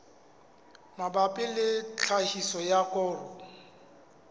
mabapi le tlhahiso ya koro